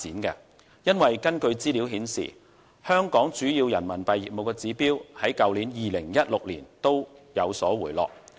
原因是，根據資料顯示，香港主要人民幣業務的指標在2016年均有所回落。